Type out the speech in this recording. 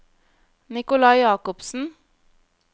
Nicolai Jakobsen